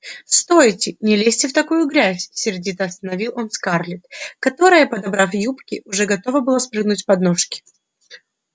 стойте не лезьте в такую грязь сердито остановил он скарлетт которая подобрав юбки уже готова была спрыгнуть с подножки